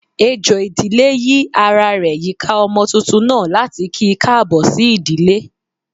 Ejò ìdílé yi ará rẹ yika ọmọ túntún naa, latí ki kaabo sí ìdílé.